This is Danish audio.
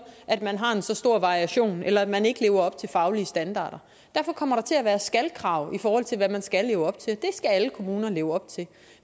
at man har så stor variation eller at man ikke lever op til faglige standarder derfor kommer der til at være skal krav i forhold til hvad man skal leve op til og skal alle kommuner leve op til